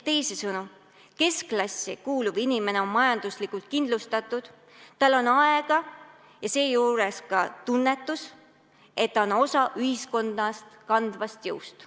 Teisisõnu, keskklassi kuuluv inimene on majanduslikult kindlustatud, tal on aega ja seejuures ka tunnetus, et ta on osa ühiskonna kandvast jõust.